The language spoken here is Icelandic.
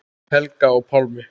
Helga og Pálmi.